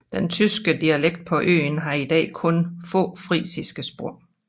Den tyske dialekt på øen har i dag kun få frisiske spor